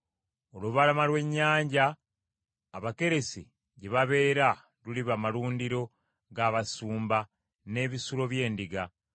Olubalama lw’ennyanja ab’Akeresi gye babeera luliba malundiro g’abasumba n’ebisulo by’endiga.